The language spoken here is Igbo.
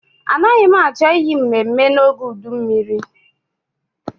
Anaghị m achọ iyi mmemme n'oge uduru mmiri.